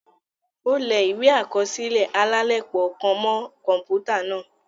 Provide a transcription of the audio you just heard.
O lẹ̀ ìwé akọsilẹ alalepo kàn mọ kọnputa náà